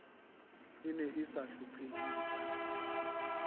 e ne e sa hlophiseha